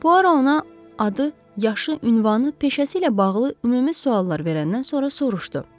Puaro ona adı, yaşı, ünvanı, peşəsi ilə bağlı ümumi suallar verəndən sonra soruşdu.